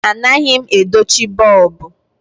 Anaghị m edochi bọlbụ.